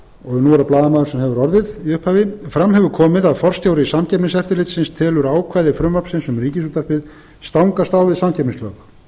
blaðamaður sem hefur orðið í upphafi fram hefur komið að forstjóri samkeppniseftirlitsins telur ákvæði frumvarpsins um ríkisútvarpið stangast á við samkeppnislög